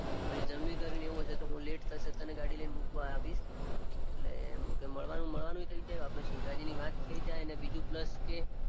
જમી કરીને એવું હશે તો લેટ થશે તો હું ગાડી લઈને મુકવા આવીશ એમ મળવાનું મળવાનું થઇ જાય આપણે સોસાઈટીની વાત થઇ જાય અને બીજું પ્લસ કે